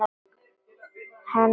Hennar hugsun mín.